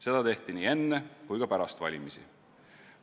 Seda tehti nii enne kui ka pärast valimisi.